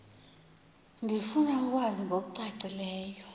ndifuna ukwazi ngokucacileyo